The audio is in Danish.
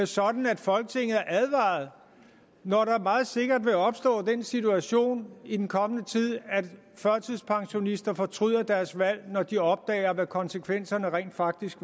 sådan at folketinget er advaret når der meget sikkert vil opstå den situation i den kommende tid at førtidspensionister fortryder deres valg når de opdager hvad konsekvenserne rent faktisk